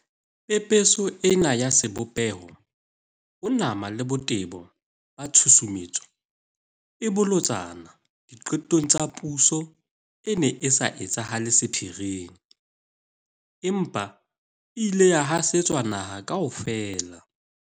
Pepeso ena ya sebopeho, ho nama le botebo ba tshusumetso e bolotsana di qetong tsa puso e ne e sa etsahale sephiring, empa e ile ya hasetswa naha kaofela.